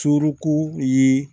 Suruku ye